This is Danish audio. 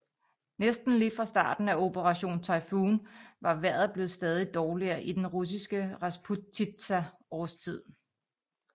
Næsten lige fra starten af Operation Typhoon var vejret blevet stadig dårligere i den russiske rasputitsa årstid